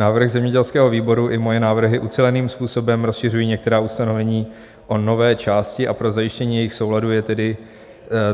Návrh zemědělského výboru i moje návrhy uceleným způsobem rozšiřují některá ustanovení o nové části, a pro zajištění jejich souladu je tedy